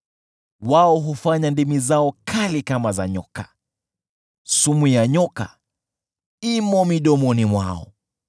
Wao hufanya ndimi zao kali kama za nyoka, sumu ya nyoka iko midomoni mwao.